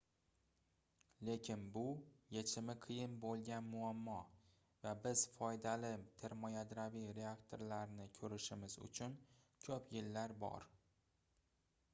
lekin bu yechimi qiyin boʻlgan muammo va biz foydali termoyadroviy reaktorlarni koʻrishimiz uchun koʻp yillar bor